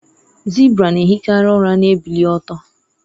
zebra na-ehikarị ụra na-ebili ọtọ